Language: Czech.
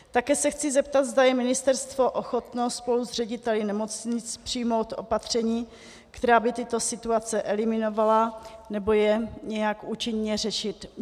Také se chci zeptat, zda je ministerstvo ochotno spolu s řediteli nemocnic přijmout opatření, která by tyto situace eliminovala nebo je nějak účinně řešila.